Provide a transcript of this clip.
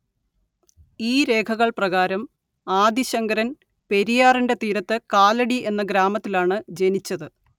ഈ രേഖകള്‍ പ്രകാരം ആദി ശങ്കരന്‍ പെരിയാറിന്റെ തീരത്ത് കാലടി എന്ന ഗ്രാമത്തിലാണ് ജനിച്ചത്